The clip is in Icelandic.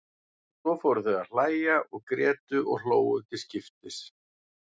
Svo fóru þau að hlæja og grétu og hlógu til skiptis.